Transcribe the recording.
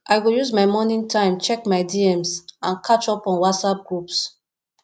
i go use morning time check my dms and catch up on whatsapp groups